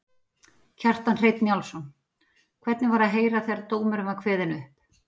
Kjartan Hreinn Njálsson: Hvernig var að heyra þegar dómurinn var kveðinn upp?